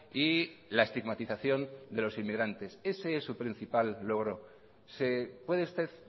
y la estigmatización de los emigrantes ese es su principal logro se puede usted